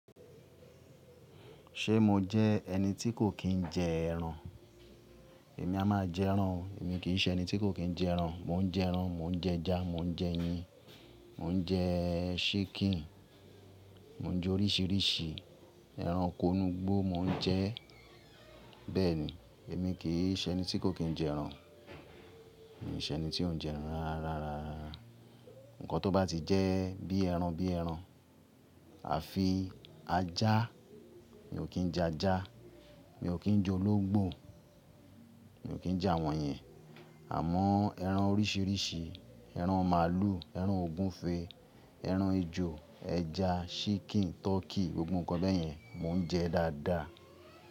Ṣe mo jẹ ẹni tí kò kí ń jẹ ẹran? Èmi a máa jẹ ẹran o, èmi kì í ṣe ẹni tí kò kí ń jẹ ẹran. Mò ń jẹ ẹran, mò ń jẹ ẹja, mò ń jẹ ẹyin, mò ń jẹ chicken, mò ń jẹ oríṣiríṣi ẹran inugbó mò ń jẹ. Bẹ́ẹ̀ ni, èmi kì í ṣe ẹni tí kò kí ń jẹ ẹran. Èmi ṣe ẹni tí ó ń jẹ ẹran rárárarara. Ǹkan tó bá ti jẹ́ bí ẹran bí ẹran. Àfi ajá, mi ò kí ń jẹ ajá, mi ò kí ń jẹ ológbò, mi ò kí ń jẹ àwọn yẹn. Àmọ́ ẹran oríṣiríṣi, ẹran màlúù, ẹran ògúnfe, ẹran ejò, ẹja, Chicken, Turkey, gbogbo ǹkan bẹ́ẹ̀ yẹn mò ń jẹ dáadáa.